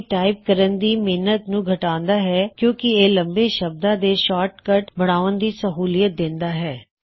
ਇਹ ਟਾਇਪ ਕਰਨ ਦੀ ਮੇਹਨਤ ਨੂੰ ਘਟਾਉਂਦਾ ਹੈ ਕਿਉਂਕੀ ਇਹ ਲੰਬੇ ਸ਼ਬਦਾ ਦੇ ਸ਼ਾਰਟ ਕੱਟ ਬਣਾਉਨ ਦੀ ਸਹਊਲਿਅਤ ਦੇਂਦਾ ਹੈ